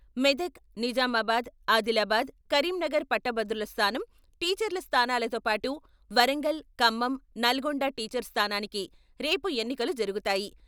మెదక్ నిజామాబాద్ ఆదిలాబాద్ కరీంనగర్ పట్టభద్రుల స్థానం టీచర్ల స్థానాలతో పాటు వరంగల్ ఖమ్మం, నల్గొండ టీచర్ స్థానానికి రేపు ఎన్నికలు జరుగుతాయి.